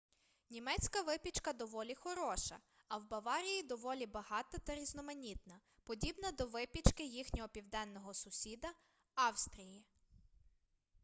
німецька випічка доволі хороша а в баварії доволі багата та різноманітна подібна до випічки їхнього південного сусіда австрії